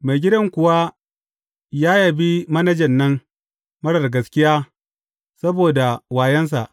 Maigidan kuwa ya yabi manajan nan marar gaskiya saboda wayonsa.